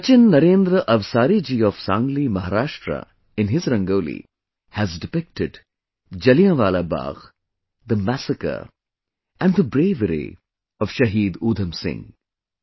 Sachin Narendra Avsari ji of Sangli Maharashtra, in his Rangoli, has depicted Jallianwala Bagh, the massacre and the bravery of Shaheed Udham Singh